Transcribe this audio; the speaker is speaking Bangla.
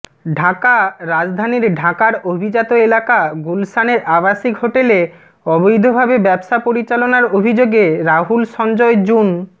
ঢাকাঃ রাজধানী ঢাকার অভিজাত এলাকা গুলশানের আবাসিক হোটেলে অবৈধভাবে ব্যবসা পরিচালনার অভিযোগে রাহুল সঞ্জয় জুন